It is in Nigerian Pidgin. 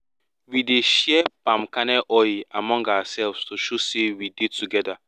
we dey share palm kernel oil among ourselves to show say we dey together